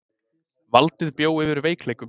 Valdið bjó yfir veikleikum.